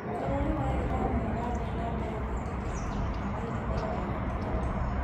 Bũrũri wa Iran nĩurathie na mbere gwĩtĩkĩrĩka mwena wa irathĩro rĩa gatagatĩ